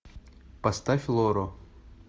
поставь лору